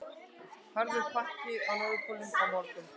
Harður pakki á Norðurpólnum á morgun